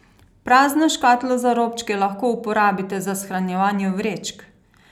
Prazno škatlo za robčke lahko uporabite za shranjevanje vrečk.